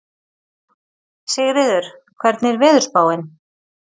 Sigríður, hvernig er veðurspáin?